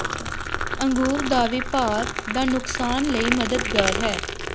ਅੰਗੂਰ ਦਾ ਵੀ ਭਾਰ ਦਾ ਨੁਕਸਾਨ ਲਈ ਮਦਦਗਾਰ ਹੈ